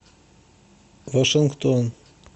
вашингтон